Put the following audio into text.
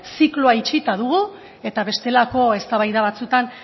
zikloa itxita dugu eta bestelako eztabaida batzuetan